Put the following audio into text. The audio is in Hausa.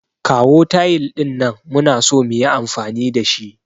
Kawo tayil din nan, muna so muyi amfani da shi.